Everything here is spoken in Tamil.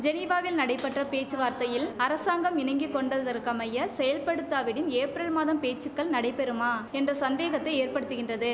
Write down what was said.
ஜெனீவாவில் நடைபெற்ற பேச்சுவார்த்தையில் அரசாங்கம் இணங்கிக் கொண்டதற்கமைய செயற்படுத்தாவிடின் ஏப்ரல் மாதம் பேச்சுக்கள் நடைபெறுமா என்ற சந்தேகத்தை ஏற்படுத்துகின்றது